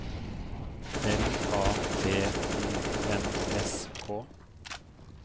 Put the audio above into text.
L A T I N S K